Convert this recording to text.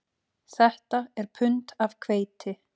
Þetta er pund af hveiti